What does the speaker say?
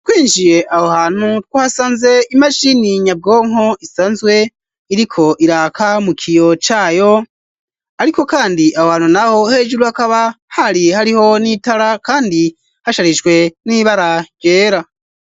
Kwinjiye aho hantu two hasanze imashini nyabwonko isanzwe iriko iraka mu kiyo cayo, ariko, kandi aho hantu na ho hejuru hakaba hari hariho n'itara, kandi hasharijwe n'ibara ryera.